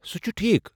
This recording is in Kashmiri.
سُہ چُھ ٹھیٖک۔